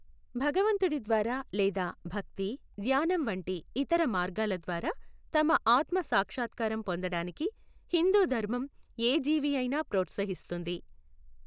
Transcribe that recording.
భగవంతుడి ద్వారా లేదా భక్తి, ధ్యానం వంటి ఇతర మార్గాల ద్వారా తమ ఆత్మ సాక్షత్కారం పొందడానికి హిందూ ధర్మం ఏ జీవియైనా ప్రోత్సహిస్తుంది.